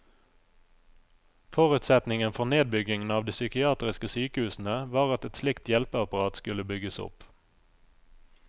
Forutsetningen for nedbyggingen av de psykiatriske sykehusene var at et slikt hjelpeapparat skulle bygges opp.